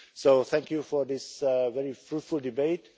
So thank you for this very fruitful debate.